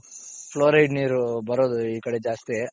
flouride ನೀರು ಬರೋದು ಈ ಕಡೆ ಜಾಸ್ತಿ.